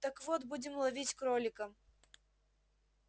так вот будем ловить кролика